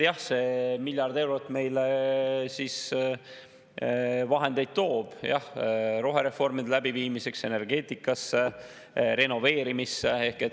Jah, see miljard eurot toob meile vahendeid rohereformide läbiviimiseks, energeetikasse, renoveerimisse.